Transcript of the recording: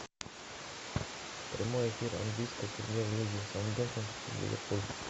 прямой эфир английской премьер лиги саутгемптон и ливерпуль